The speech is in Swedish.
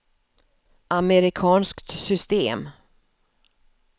amerikanskt system